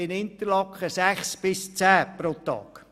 In Interlaken sind es sechs bis zehn Kunden pro Tag.